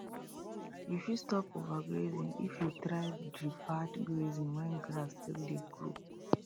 you fit stop overgrazing if you try deferred grazing when grass still dey grow